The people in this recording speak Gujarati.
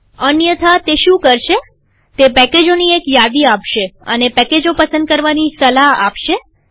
અન્યથા તે શું કરશેતે પેકેજોની એક યાદી આપશે અને પેકેજો પસંદ કરવાની સલાહ આપશે